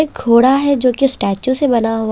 एक घोड़ा है जो कि स्टैचू से बना हुआ--